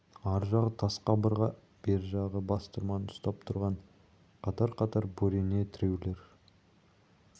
ар жағы тас қабырға бер жағы бастырманы ұстап тұрған қатар-қатар бөрене тіреулер